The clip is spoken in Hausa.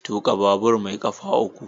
Tuka babur mai kafa uku.